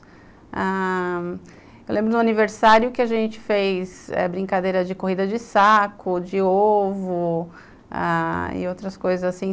Ah... Eu lembro no aniversário que a gente fez brincadeira de corrida de saco, de ovo ah... e outras coisas assim.